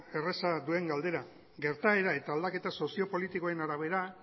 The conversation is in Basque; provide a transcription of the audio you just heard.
erraza duen galdera gertaera eta aldaketa soziopolitikoen arabera